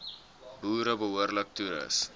boere behoorlik toerus